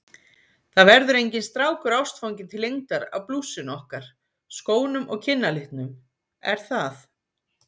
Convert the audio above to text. Það verður enginn strákur ástfanginn til lengdar af blússunni okkar, skónum og kinnalitnum, er það?